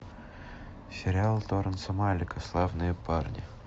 сериал терренса малика славные парни